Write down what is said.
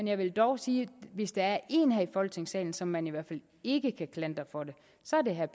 jeg vil dog sige at hvis der er én her i folketingssalen som man i hvert fald ikke kan klandre for det så er det herre